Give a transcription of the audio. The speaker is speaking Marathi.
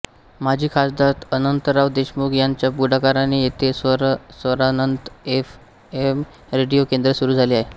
माजी खासदार अनंतराव देशमुख यांच्या पुढाकाराने येथे स्वरानंत एफएम रेडिओ केंद्र सुरू झाले आहे